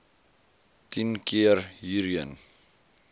tien keer hierheen